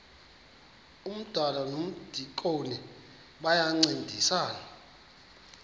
umdala nomdikoni bayancedisana